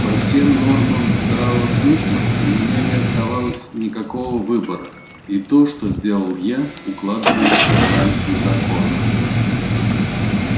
по всем нормам здравого смысла у меня не оставалось никакого выбора и то что сделал я укладывается в рамки закона